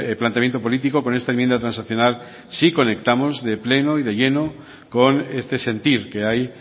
planteamiento político con esta enmienda transaccional sí conectamos de pleno y de lleno con este sentir que hay